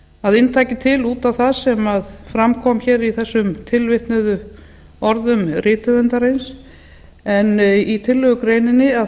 að inntaki til út á það sem fram kom í þessum tilvitnuðu orðum rithöfundarins en í tillaga